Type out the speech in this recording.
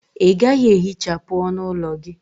Ị gaghị ehichapụ ọnụ ụlọ gị?